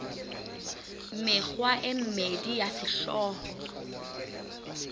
mekgwa e mmedi ya sehlooho